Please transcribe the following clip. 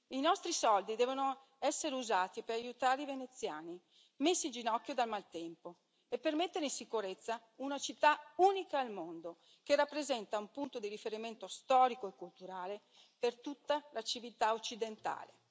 I nostri soldi devono essere usati per aiutare i veneziani, messi in ginocchio dal maltempo, e per mettere in sicurezza una città unica al mondo, che rappresenta un punto di riferimento storico e culturale per tutta la civiltà occidentale.